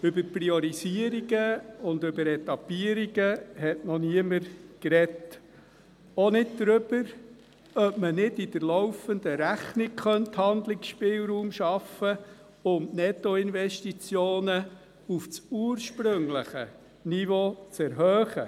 Über Priorisierungen und Etappierungen hat noch niemand gesprochen, auch nicht darüber, ob man nicht in der laufenden Rechnung Handlungsspielraum schaffen könnte, um die Nettoinvestitionen auf das ursprüngliche Niveau zu erhöhen.